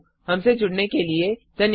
हमसे जुड़ने के लिए धन्यवाद